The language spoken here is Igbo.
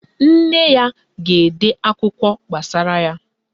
Nne ya ga-ede akụkọ gbasara ya.